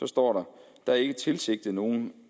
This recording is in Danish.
står der er ikke tilsigtet nogen